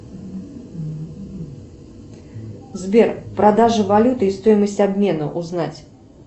сбер продажа валюты и стоимость обмена узнать